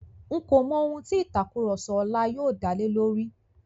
N̄ kò mọ ohun tí ìtàkurọ̀sọ ọlá yóò dá lé lórí.